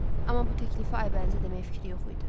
Amma bu təklifi Aybənizə deməyə fikri yox idi.